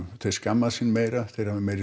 þeir skammast sín meira þeir hafa meiri